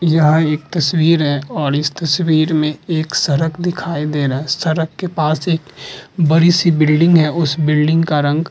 यह एक तस्वीर है और इस तस्वीर में एक सड़क दिखाई दे रहा है। सड़क के पास एक बड़ी बिल्डिंग है। उस बिल्डिंग का रंग --